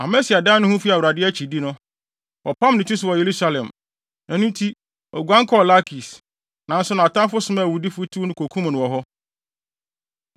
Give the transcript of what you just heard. Amasia dan ne ho fii Awurade akyidi no, wɔpam ne ti so wɔ Yerusalem. Ɛno nti, oguan kɔɔ Lakis. Nanso nʼatamfo somaa awudifo, tiw no kokum no wɔ hɔ.